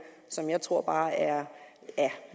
som jeg bare tror er